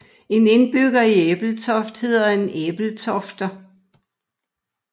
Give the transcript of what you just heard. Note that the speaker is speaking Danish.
En indbygger i Ebeltoft hedder en ebeltofter